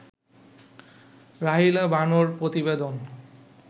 রাহিলা বানো-র প্রতিবেদন